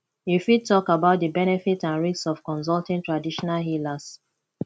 you fit talk about di benefits and risks of consulting traditional healers